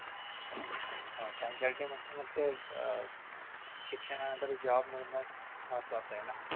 मग काय मग ते अह शिक्षणानंतर job करण महत्वाचं आहे ना